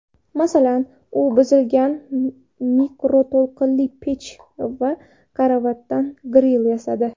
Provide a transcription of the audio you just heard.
Masalan, u buzilgan mikroto‘lqinli pech va karavotdan gril yasadi.